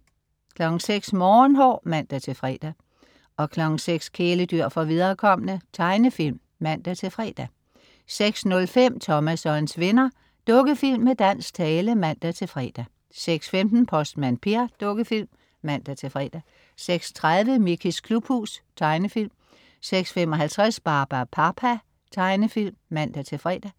06.00 Morgenhår (man-fre) 06.00 Kæledyr for viderekomne. Tegnefilm (man-fre) 06.05 Thomas og hans venner. Dukkefilm med dansk tale (man-fre) 06.15 Postmand Per. Dukkefilm (man-fre) 06.30 Mickeys klubhus. Tegnefilm 06.55 Barbapapa. Tegnefilm (man-fre)